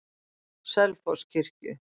Selfosskirkju